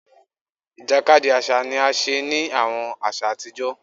Ìjàkadì àṣà ni a ṣe ni àwọn aṣa àtijọ́